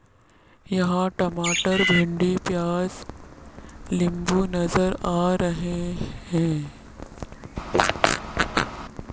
यहां टमाटर भिंडी प्याज लिंबू नजर आ रहे हैं।